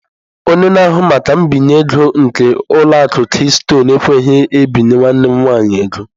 Onye na-ahụ maka mbinye ego nke ụlọ akụ Keystọnụ ekweghị ebinye nwanne m nwanyị ego.